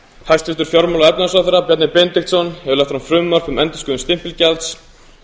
hæstvirtur fjármála og efnahagsráðherra bjarni benediktsson hefur lagt fram frumvarp um endurskoðun stimpilgjalds